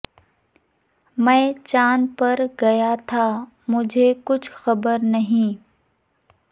میں چاند پر گیا تھا مجھے کچھ خبر نہیں